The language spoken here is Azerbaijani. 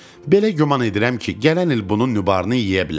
Belə güman edirəm ki, gələn il bunun nübarını yeyə bilərik.